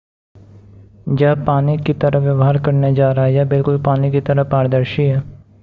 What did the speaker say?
यह पानी की तरह व्यवहार करने जा रहा है यह बिल्कुल पानी की तरह पारदर्शी है